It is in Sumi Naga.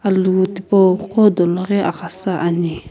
alu tipou ghodolo ghu aghasa ane.